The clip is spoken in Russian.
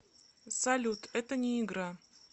салют это не игра